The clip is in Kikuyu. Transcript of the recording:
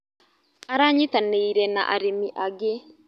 Aranyitanĩire na arĩmi angĩ.